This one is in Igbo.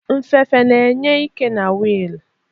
Nfefe na-enyefe ike na wiil.